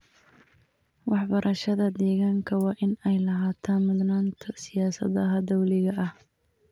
Waxbarashada deegaanka waa in ay lahaato mudnaanta siyaasadaha dowliga ah.